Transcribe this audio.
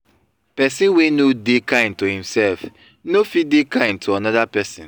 persin wey no de kind to imself no fit de kind to another persin